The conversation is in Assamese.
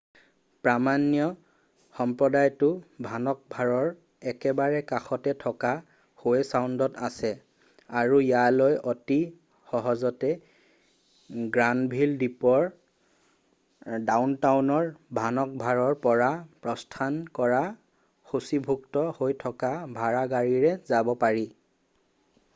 প্ৰামাণ্য সম্প্ৰদায়টো ভানক'ভাৰৰ একেবাৰে কাষতে থকা হোৱে চাউণ্ডত আছে আৰু ইয়ালৈ অতি সহজতে গ্ৰানভিল দ্বীপৰ ডাউনটাউন ভানক'ভাৰৰ পৰা প্ৰস্থান কৰা সূচীভুক্ত হৈ থকা ভাড়া গাড়ীৰে যাব পাৰি